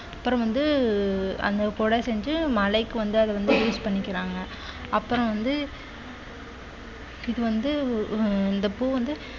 அப்புறம் வந்து அந்த குடை செஞ்சு மழைக்கு வந்து அத வந்து use பண்ணிக்கிறாங்க அப்புறம் வந்து இது வந்து உம் இந்தப் பூ வந்து